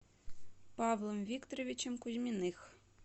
павлом викторовичем кузьминых